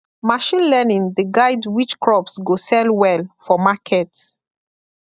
machine learning dey guide which crops go sell well for market